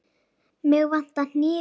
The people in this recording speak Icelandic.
Mig vantar hníf.